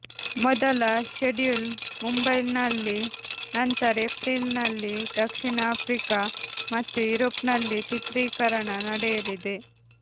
ಮೊದಲ ಷೆಡ್ಯೂಲ್ ಮುಂಬೈಲ್ನಲ್ಲಿ ನಂತರ ಏಪ್ರಿಲ್ನಲ್ಲಿ ದಕ್ಷಿಣ ಆಫ್ರಿಕಾ ಮತ್ತು ಯುರೋಪ್ನಲ್ಲಿ ಚಿತ್ರೀಕರಣ ನಡೆಯಲಿದೆ